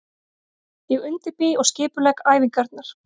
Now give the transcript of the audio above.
Ég undirbý og skipulegg æfingarnar.